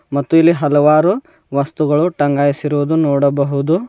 ಮತ್ತು ಇಲ್ಲಿ ಹಲವಾರು ವಸ್ತುಗಳು ಟಂಗಾಯಿಸಿರುವುದು ನೋಡಬಹುದು.